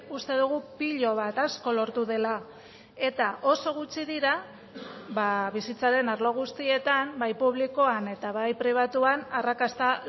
uste dugu pilo bat asko lortu dela eta oso gutxi dira bizitzaren arlo guztietan bai publikoan eta bai pribatuan arrakasta